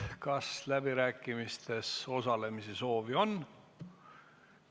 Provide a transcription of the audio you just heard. Kas läbirääkimistel osalemise soovi on?